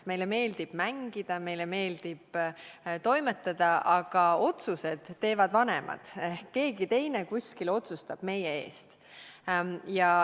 Meile meeldib mängida ja meile meeldib toimetada, aga otsused teevad vanemad – ehk keegi teine kuskil otsustab meie eest.